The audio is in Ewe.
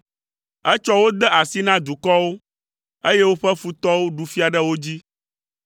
Etsɔ wo de asi na dukɔwo, eye woƒe futɔwo ɖu fia ɖe wo dzi.